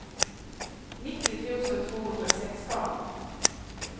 nittio tusen tvåhundrasexton